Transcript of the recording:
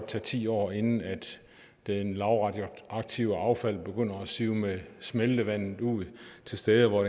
tage ti år inden det lavradioaktive affald begynder at sive med smeltevandet ud til steder hvor